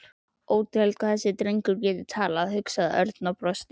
Ótrúlegt hvað þessi drengur gat talað, hugsaði Örn og brosti.